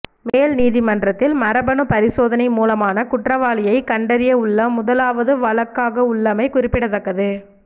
மேல் நீதிமன்றில் மரபணு பரிசோதனை மூலமான குற்றவாளியை கண்டறியவுள்ள முதலாவது வழக்காகவுள்ளமை குறிப்பிடத்தக்கது